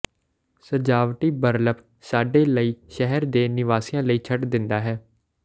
ਸਜਾਵਟੀ ਬਰਲਪ ਸਾਡੇ ਲਈ ਸ਼ਹਿਰ ਦੇ ਨਿਵਾਸੀਆਂ ਲਈ ਛੱਡ ਦਿੰਦਾ ਹੈ